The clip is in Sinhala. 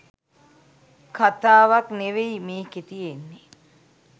කතාවක් නෙවෙයි මේකෙ තියෙන්නෙ.